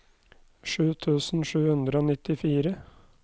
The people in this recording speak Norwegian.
sju tusen sju hundre og nittifire